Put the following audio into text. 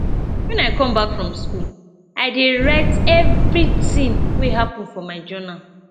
wen i come back from skool i dey write everytin wey happen for journal